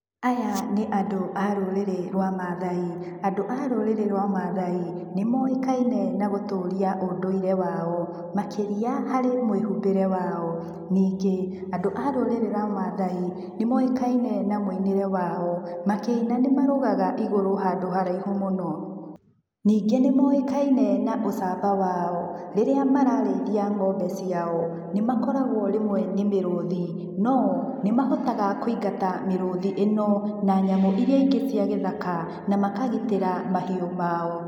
Aya nĩ andũ a rũrĩrĩ rwa maathai. Andũ a rũrĩrĩ rwa maathai, nĩ moĩkaine na gũtũria ũndũire wao. Makĩria, harĩ mwĩhumbĩre wao. Ningĩ, andũ a rũrĩrĩ rwa maathai nĩ moĩkaine na muinĩre wao. Makĩina nĩ marũgaga igũrũ handũ haraihu mũno. Ningĩ nĩ moĩkaine na ũcamba wao. Rĩrĩa mararĩithia ng'ombe ciao, nĩ makoragwo rĩmwe nĩ mĩrũthi, no nĩmahotaga kũingata mĩrũthi ĩno, na nyamũ iria ingĩ cia gĩthaka, na makagitĩra mahiũ mao.